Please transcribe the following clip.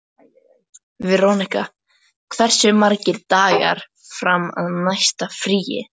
Veronika, hversu margir dagar fram að næsta fríi?